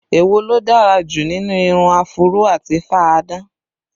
Èwo ló dára jù nínú irun áfúró àti fá-a-dán?